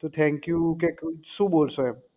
તો Thank you કે શું બોલશો એમ